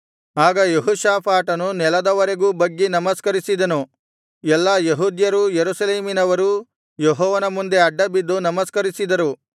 ಆಗ ಯೆಹೋಷಾಫಾಟನು ನೆಲದವರೆಗೂ ಬಗ್ಗಿ ನಮಸ್ಕರಿಸಿದನು ಎಲ್ಲಾ ಯೆಹೂದ್ಯರೂ ಯೆರೂಸಲೇಮಿನವರೂ ಯೆಹೋವನ ಮುಂದೆ ಅಡ್ಡಬಿದ್ದು ನಮಸ್ಕರಿಸಿದರು